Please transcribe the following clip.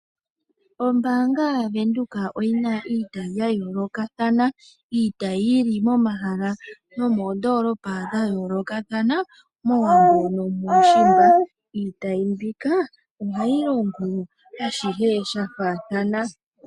Ombaanga Venduka oyi na iitayi ya yoolokathana. Iitayi yi li momahala nomoondoolopa dha yoolokathana mOwambo nomuushimba. Iitayi mbika ohayi longo ashihe sha faathana.